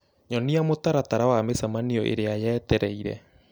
Nyonia mũtaratara wa mĩcemanio ĩrĩa yetereĩre